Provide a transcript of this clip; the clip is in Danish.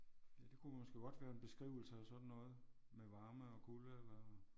Ja det kunne måske godt være en beskrivelse af sådan noget med varme og kulde eller